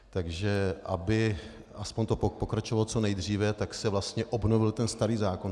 Takže aby aspoň to pokračovalo co nejdříve, tak se vlastně obnovil ten starý zákon.